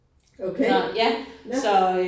Okay. Ja